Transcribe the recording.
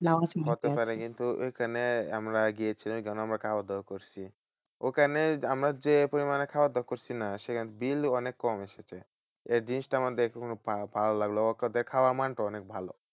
হতে পারে কিন্তু ঐখানে আমরা গিয়েছিলাম। ঐখানে আমরা খাওয়া দাওয়া করছি। ওখানে আমরা যে পরিমান খাওয়া দাওয়া করছি না? সেখানে bill অনেক কম এসেছে। এই জিনিসটা আমাদের কিন্তু অনেক ভা~ ভালো লাগলো। ওদের খাওয়ার মানটা অনেক ভালো।